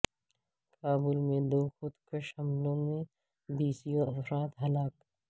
کابل میں دو خود کش حملوں میں بیسیووں افراد ہلاک